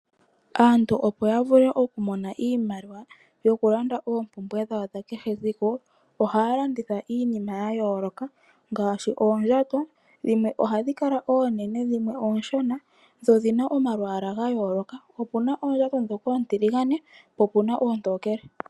Aantu opo ya vule oku mona iimaliwa yoku landa oompumbwe dhawo dha kehe ethimbo, ohaya landitha iinima ya yooloka ngaashi oondjato. Dhimwe ohadhi kala oonene dhimwe oonshona dho odhina omalwaala ga yooloka. Opuna oondjato ndhoka oontiligane po opuna oontokele.